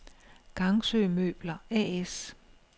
Gangsø Møbler A/S